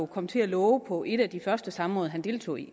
kom til at love på et af de første samråd han deltog i